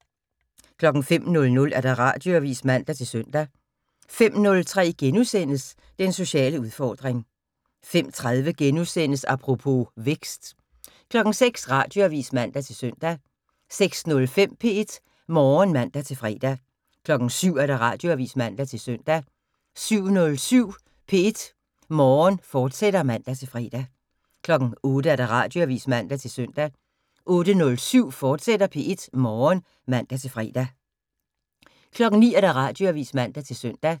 05:00: Radioavis (man-søn) 05:03: Den sociale udfordring * 05:30: Apropos - Vækst * 06:00: Radioavis (man-søn) 06:05: P1 Morgen (man-fre) 07:00: Radioavis (man-søn) 07:07: P1 Morgen, fortsat (man-fre) 08:00: Radioavis (man-søn) 08:07: P1 Morgen, fortsat (man-fre) 09:00: Radioavis (man-søn)